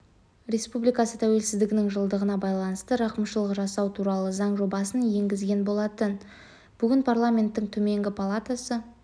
республикасы тәуелсіздігінің жылдығына байланысты рақымшылық жасау туралы заң жобасын енгізген болатын бүгін парламенттің төменгі палатасы